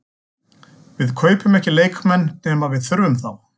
Við kaupum ekki leikmenn nema við þurfum þá.